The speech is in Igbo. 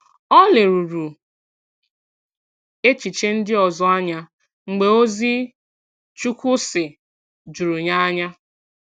Ọ lèrùrù echiche ndị ọzọ anya mgbe ozi “Chukwu sị” jùrù ya anya.